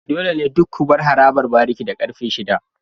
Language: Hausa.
Dole ne duk ku bar harabar bariki da karfe shida.